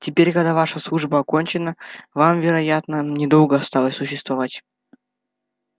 теперь когда ваша служба окончена вам вероятно недолго осталось существовать